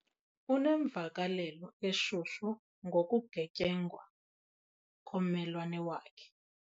Unemvakalelo eshushu ngokugetyengwa kommelwane wakhe.